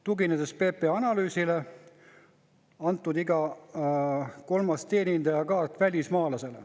Tuginedes PPA analüüsile, on iga kolmas teenindajakaart antud välismaalasele.